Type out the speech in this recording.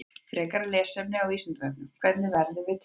Frekara lesefni á Vísindavefnum: Hvernig verðum við til?